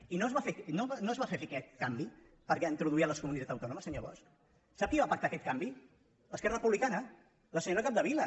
i no es va fer fer aquest canvi per introduir les comunitats autònomes senyor bosch sap qui va pactar aquest canvi es·querra republicana la senyora capdevila